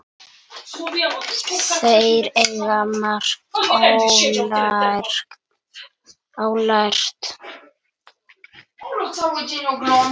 Þeir eigi margt ólært.